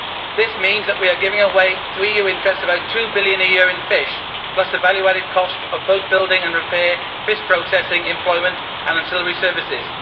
This means that we are giving away to EU interests about GBP 2 billion a year in fish plus the value added cost of boat building and repair, fish processing employment and ancillary services